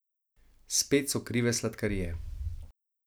Spet so krive sladkarije.